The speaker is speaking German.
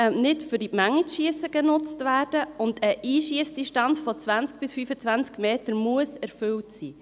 Er darf nicht genutzt werden, um in die Menge zu schiessen, und eine Einschiessdistanz von 20 bis 25 Metern muss erfüllt sein.